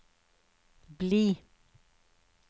bli